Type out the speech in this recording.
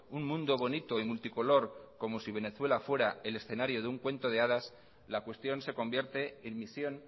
un mundo bonito y multicolor como si venezuela fuera el escenario de un cuento de hadas la cuestión se convierte en misión